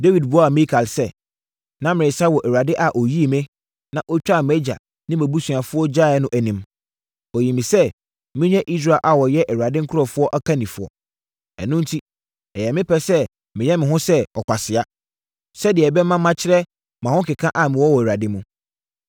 Dawid buaa Mikal sɛ, “Na meresa wɔ Awurade a ɔyii me, na ɔtwaa wʼagya ne nʼabusuafoɔ gyaeɛ no anim. Ɔyii me sɛ menyɛ Israel a wɔyɛ Awurade nkurɔfoɔ ɔkannifoɔ. Ɛno enti, ɛyɛ me pɛ sɛ meyɛ me ho sɛ ɔkwasea, sɛdeɛ ɛbɛma makyerɛ mʼahokeka a mewɔ wɔ Awurade mu.